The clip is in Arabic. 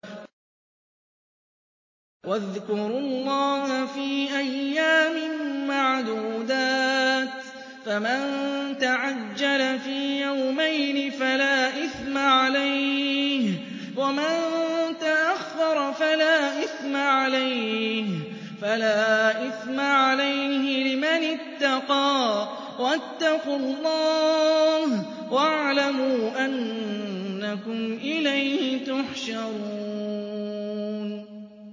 ۞ وَاذْكُرُوا اللَّهَ فِي أَيَّامٍ مَّعْدُودَاتٍ ۚ فَمَن تَعَجَّلَ فِي يَوْمَيْنِ فَلَا إِثْمَ عَلَيْهِ وَمَن تَأَخَّرَ فَلَا إِثْمَ عَلَيْهِ ۚ لِمَنِ اتَّقَىٰ ۗ وَاتَّقُوا اللَّهَ وَاعْلَمُوا أَنَّكُمْ إِلَيْهِ تُحْشَرُونَ